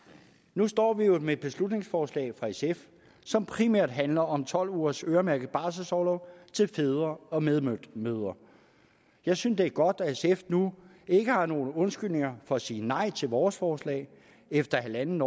nu står vi jo med et beslutningsforslag fra sf som primært handler om tolv ugers øremærket barselsorlov til fædre og medmødre jeg synes det er godt at sf nu ikke har nogen undskyldninger for at sige nej til vores forslag efter en en